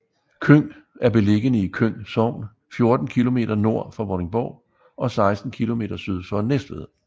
Køng er beliggende i Køng Sogn 14 kilometer nord for Vordingborg og 16 kilometer syd for Næstved